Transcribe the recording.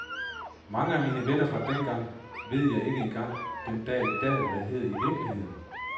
Mange af mine venner fra dengang ved jeg ikke engang den dag i dag hvad hedder i virkeligheden.